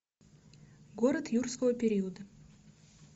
город юрского периода